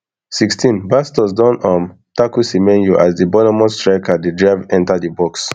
sixteenbastos don um tackle semenyo as di bournemouth striker dey drive enta di box